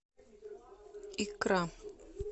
икра